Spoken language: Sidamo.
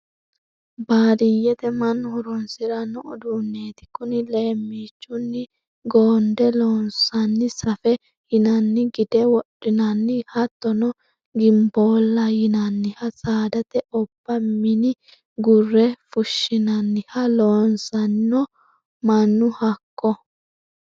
Baadiyyete mannu horonsirano uduuneti kuni leemichunni goonde loonsanni safe yinanni gide wodhinanni hattono gimbolla yinanniha saadate obba mini gurre fushinanniha loossano mannu hakko.